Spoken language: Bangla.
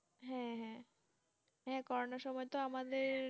হ্যাঁ, হ্যাঁ। হ্যাঁ, করোনার সময় তো আমাদের